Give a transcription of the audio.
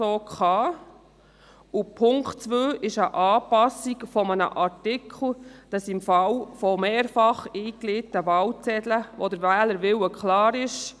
Der Punkt 2 will eine Anpassung eines Artikels, sodass mehrfach eingelegte Wahlzettel gültig sind, wenn der Wählerwille klar ist.